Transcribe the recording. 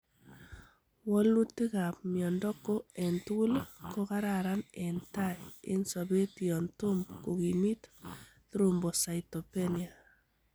Wolutikab miondo ko entugul kokararan en tai en sobet yon tom kokimit thrombocytopenia .